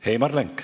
Heimar Lenk.